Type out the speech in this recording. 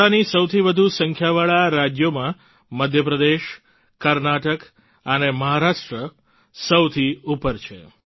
દિપડાની સૌથી વધુ સંખ્યાવાળા રાજ્યોમાં મધ્યપ્રદેશ કર્ણાટક અને મહારાષ્ટ્ર સૌથી ઉપર છે